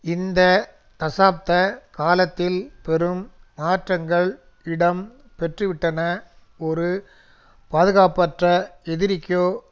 இந்த தசாப்த காலத்தில் பெரும் மாற்றங்கள் இடம் பெற்றுவிட்டன ஒரு பாதுகாப்பற்ற எதிரிக்கோ